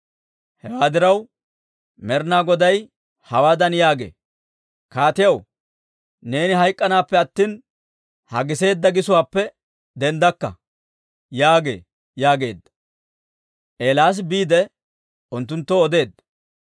Hewaa diraw, Med'ina Goday hawaadan yaagee; ‹Kaatiyaw, neeni hayk'k'anaappe attina, ha giseedda gisuwaappe denddakka› yaagee» yaageedda. Eelaasi biide, unttunttoo odeedda.